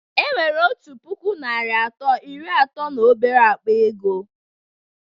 Enwere otu puku naịra atọ na iri atọ na obere akpa ego